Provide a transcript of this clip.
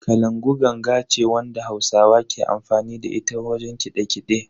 Kalangu ganga ce wadda hausawa ke amfani da ita wajen kiɗe-kiɗe.